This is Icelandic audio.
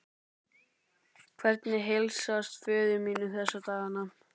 Hvernig heilsast föður mínum þessa dagana?